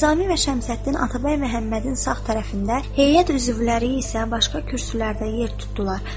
Nizami və Şəmsəddin Atabəy Məhəmmədin sağ tərəfində, heyət üzvləri isə başqa kürsülərdə yer tutdular.